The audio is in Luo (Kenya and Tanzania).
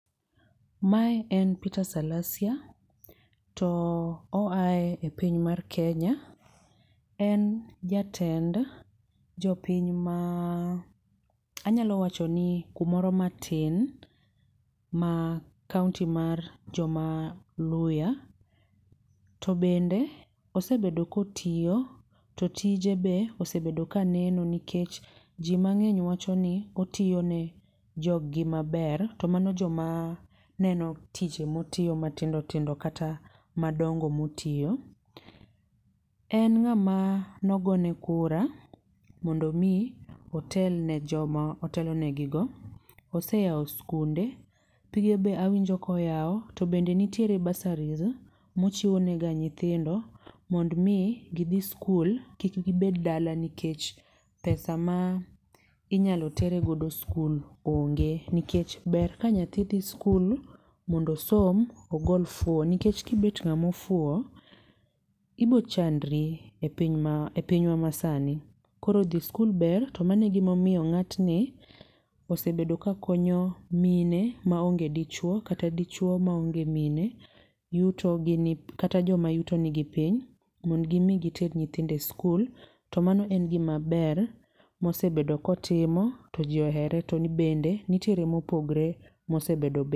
Mae en Petre Salasia to oa e piny mar Kenya to en jatend jopiny anyalo wachini kumoro matin e kaonti mar Luhya to bende osebedo ka otiyo to tije be osebedo ka ne no nikech ji mang'eny wachoni otiyo ne jogi maber. To mago joma neno tije motiyo matindo tindo kata madongo moiyo. En ng'ama ne ogone kura mondo mi otel ne joma ne otelo negi go. Ose yawo sikunde, pige be awinjo ka oyawo to bende nitiere burseries mochiwo ne ga nyithindo mondo mi gidhi sukul kik gibed dala nikech pesa ma inyalo tere godo sikul onge nikech ber ka nyathi dhi sikul mondo osom, ogol fuwo nikech kibet ng'ama ofuwo ibiro chandri epiny epinywa masani koro dhi e sikul ber to mano e gima omiyo ng'atni osebetdo kakonyo mine maonge dichuo kata dichuo maonge mine yuto gi ni kata joma yutogi ni piny mondo gi mi giter nyithindo e sikul. To mano en gima ber ma osebedo ka otimo to ji ohere to bende nitiere mopogre mosebedo